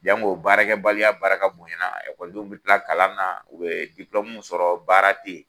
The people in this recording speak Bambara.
Jango baarakɛbaliya barika bonyana ekɔlidenw bɛ tila kalan na u bɛ sɔrɔ baara tɛ yen